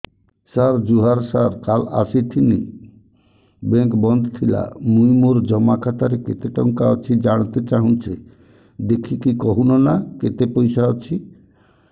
ସାର ଜୁହାର ସାର କାଲ ଆସିଥିନି ବେଙ୍କ ବନ୍ଦ ଥିଲା ମୁଇଁ ମୋର ଜମା ଖାତାରେ କେତେ ଟଙ୍କା ଅଛି ଜାଣତେ ଚାହୁଁଛେ ଦେଖିକି କହୁନ ନା କେତ ପଇସା ଅଛି